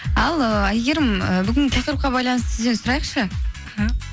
ал ыыы әйгерім і бүгін тақырыпқа байланысты сізден сұрайықшы іхі